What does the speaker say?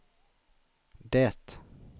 det